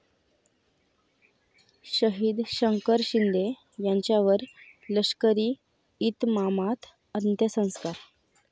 शहीद शंकर शिंदे यांच्यावर लष्करी इतमामात अंत्यसंस्कार